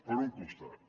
per un costat